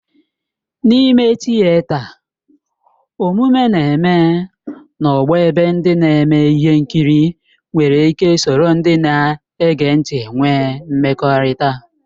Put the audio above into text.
N'ime tịeta, omume na-eme na ogbo ebe ndị na-eme ihe nkiri nwere ike soro ndị na-ege ntị nwee mmekọrịta.